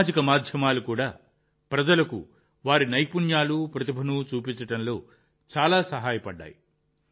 సామాజిక మాధ్యమాలు కూడా ప్రజలకు వారి నైపుణ్యాలు ప్రతిభను చూపించడంలో చాలా సహాయపడ్డాయి